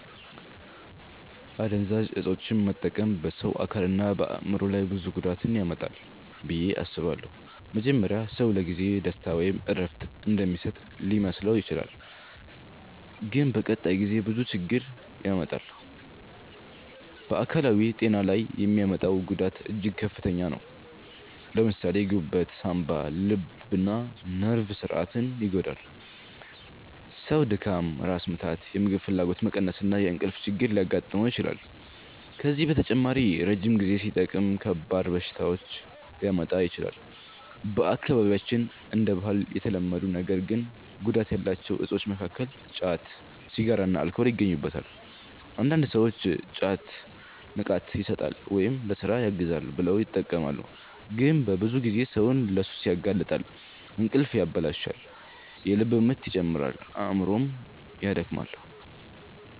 አደንዛዥ እፆችን መጠቀም በሰው አካልና በአእምሮ ላይ ብዙ ጉዳት ያመጣል ብዬ አስባለሁ። መጀመሪያ ሰው ለጊዜው ደስታ ወይም እረፍት እንደሚሰጥ ሊመስለው ይችላል፣ ግን በቀጣይ ጊዜ ብዙ ችግር ያመጣል። በአካላዊ ጤና ላይ የሚያመጣው ጉዳት እጅግ ከፍተኛ ነው። ለምሳሌ ጉበት፣ ሳንባ፣ ልብና ነርቭ ስርዓትን ይጎዳል። ሰው ድካም፣ ራስ ምታት፣ የምግብ ፍላጎት መቀነስ እና የእንቅልፍ ችግር ሊያጋጥመው ይችላል። ከዚህ በተጨማሪ ረጅም ጊዜ ሲጠቀም ከባድ በሽታዎች ሊያመጣ ይችላል። በአካባቢያችን እንደ ባህል የተለመዱ ነገር ግን ጉዳት ያላቸው እፆች መካከል ጫት፣ ሲጋራና አልኮል ይገኙበታል። አንዳንድ ሰዎች ጫት “ንቃት ይሰጣል” ወይም “ለሥራ ያግዛል” ብለው ይጠቀማሉ፣ ግን በብዙ ጊዜ ሰውን ለሱስ ያጋልጣል። እንቅልፍ ያበላሻል፣ የልብ ምት ይጨምራል፣ አእምሮንም ያደክማል።